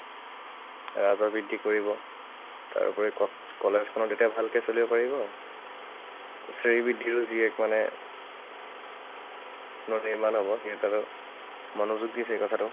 সেৱাকৰ বৃদ্ধি কৰিব। তাৰ উপৰি college খনো তেতিয়া ভালকে চলিব পাৰিব, তাৰপিছতে এই বৃদ্ধিটো যি এক মানে পুনৰ্নিৰ্মাণ হব, সেইসকলে মনোযোগ দিছে কথাটো।